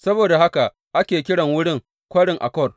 Saboda haka ake kiran wurin Kwarin Akor.